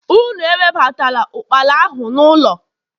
unu ewebatala ukpala ahu n'ulo!